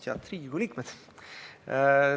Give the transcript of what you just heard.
Head Riigikogu liikmed!